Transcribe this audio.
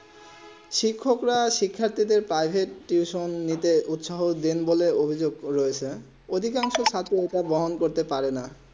শিক্ষক রা শিখ্যাত্ৰীক দেড় প্রাইভেট টিউশন নিতে উৎসাহকে দিন বলেন অভিযুক্ত রয়েছে ওই কারণ অধিকাংশ ছাত্র গ্রহণ করতে পারে না